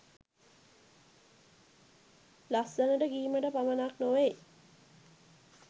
ලස්සනට කීමට පමණක් නොවෙයි.